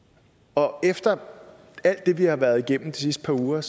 og efter alt det vi har været igennem i de sidste par uger